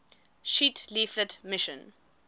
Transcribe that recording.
sheet leaflet mission